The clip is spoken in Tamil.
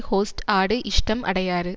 ஹொஸ்ட் ஆடு இஷ்டம் அடையாறு